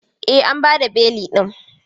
E, an ba da belin din.